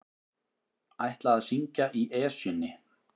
Ætla að syngja í Esjunni